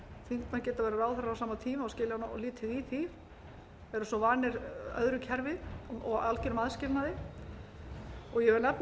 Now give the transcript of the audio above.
geta verið ráðherrar á sama tíma og skilja lítið í því eru svo vanir öðru kerfi og algerum aðskilnaði ég vil nefna